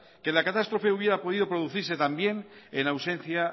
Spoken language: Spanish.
que la catástrofe hubiera podido producirse también en ausencia